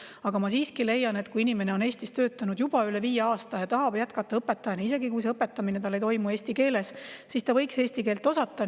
Aga ma siiski leian, et kui inimene on Eestis töötanud juba üle viie aasta ja tahab jätkata õpetajana, isegi kui see õpetamine ei toimu eesti keeles, siis ta võiks eesti keelt osata.